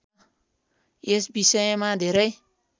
यस विषयमा धेरै